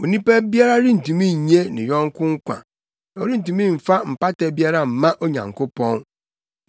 Onipa biara rentumi nnye ne yɔnko nkwa na ɔrentumi mfa mpata biara mma Onyankopɔn,